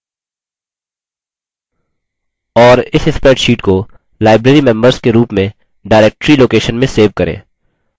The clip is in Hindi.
और इस spreadsheet को librarymembers के रूप में directory location में सेव करें